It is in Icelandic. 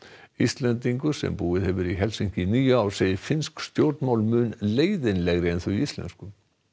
Íslendingur sem búið hefur í Helsinki í níu ár segir finnsk stjórnmál mun leiðinlegri en þau íslensku